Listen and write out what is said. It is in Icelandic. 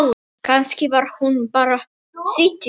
Kannski var hún bara syfjuð.